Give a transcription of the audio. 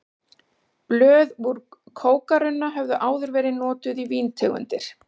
Blöð úr kókarunna höfðu áður verið notuð í víntegundir.